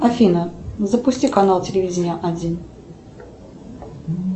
афина запусти канал телевидение один